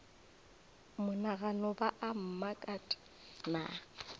monagano ba a mmakat na